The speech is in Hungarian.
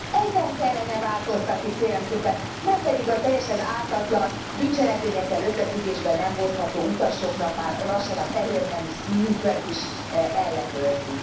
Ezen kellene változtatni, kérem szépen, nem pedig a teljesen ártatlan, bűncselekményekkel összefüggésbe nem hozható utasoknak már lassan a fehérneműjük színét is ellenőrzik.